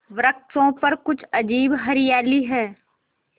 वृक्षों पर कुछ अजीब हरियाली है